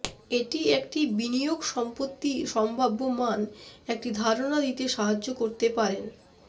এটি একটি বিনিয়োগ সম্পত্তি সম্ভাব্য মান একটি ধারণা দিতে সাহায্য করতে পারেন